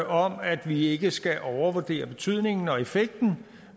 om at vi ikke skal overvurdere betydningen og effekten